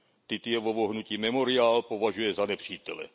Titjevovo hnutí Memoriál považuje za nepřítele.